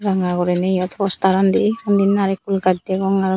ranga guriney yot postar an dey undi narekul gaj degong arow.